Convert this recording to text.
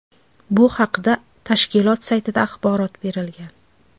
Bu haqda tashkilot saytida axborot berilgan .